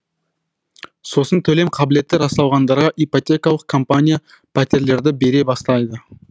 сосын төлем қабілеті расталғандарға ипотекалық компания пәтерлерді бере бастайды